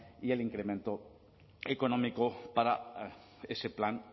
y el incremento económico para ese plan